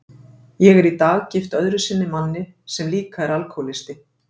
Ég er í dag gift öðru sinni manni sem líka er alkohólisti.